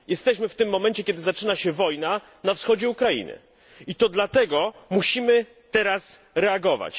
Jesteśmy w tym momencie, kiedy zaczyna się wojna na wschodzie Ukrainy i dlatego musimy teraz reagować.